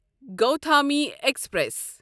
Gautami express